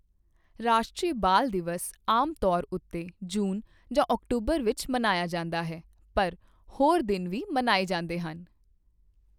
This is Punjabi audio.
ਰਾਸ਼ਟਰੀ ਬਾਲ ਦਿਵਸ ਆਮ ਤੌਰ ਉੱਤੇ ਜੂਨ ਜਾਂ ਅਕਤੂਬਰ ਵਿੱਚ ਮਨਾਇਆ ਜਾਂਦਾ ਹੈ, ਪਰ ਹੋਰ ਦਿਨ ਵੀ ਮਨਾਏ ਜਾਂਦੇ ਹਨ।